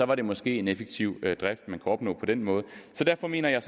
var det måske en effektiv drift man kunne opnå på den måde derfor mener jeg